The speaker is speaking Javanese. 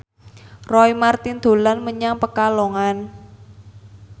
Roy Marten dolan menyang Pekalongan